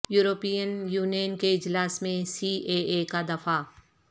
European Union کے اجلاس میں سی اے اے کا دفاع